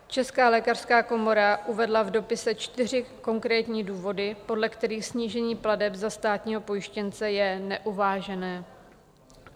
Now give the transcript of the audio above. Česká lékařská komora uvedla v dopise čtyři konkrétní důvody, podle kterých snížení plateb za státního pojištěnce je neuvážené.